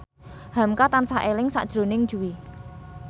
hamka tansah eling sakjroning Jui